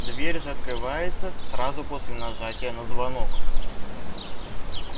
дверь же открывается сразу после нажатия на звонок